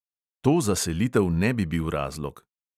To za selitev ne bi bil razlog.